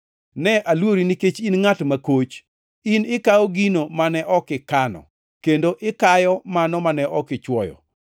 Ne aluori, nikech in ngʼat makoch. In ikawo gino mane ok ikano, kendo ikayo mano mane ok ichwoyo.’